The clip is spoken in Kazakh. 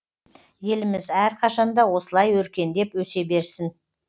еліміз әрқашанда осылай өркендеп өсе берсін